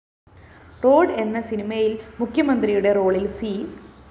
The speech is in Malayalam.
റോഡ്‌ എന്ന സിനിമയില്‍ മുഖ്യമന്ത്രിയുടെ റോളില്‍ സി